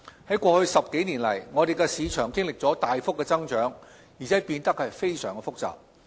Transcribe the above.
在過去10多年來，我們的市場經歷了大幅增長，而且變得非常複雜。